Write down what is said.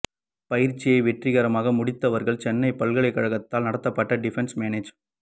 பயிற்சியை வெற்றிகரமாக முடித்தவர்கள் சென்னை பல்கலைக்கழகத்தால் நடத்தப்படும் டிஃபென்ஸ் மேனேஜ்